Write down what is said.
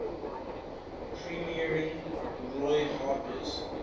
premiering roy harper's